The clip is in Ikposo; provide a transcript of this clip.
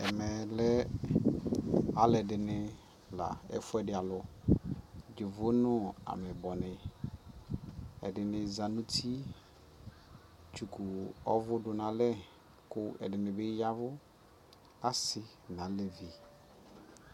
Ɛmɛ lɛ alιdι nι la ɛfu yɛ di alʋ Yovo nʋ ameyibɔni Ɛdι nι za nʋ uti tsukʋ ɔvu dʋ nʋ alɛ kʋ ɛdini bι yavu asi nʋ alivi